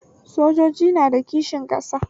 Sojoji na da kishi ƙasa